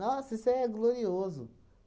Nossa, isso é glorioso.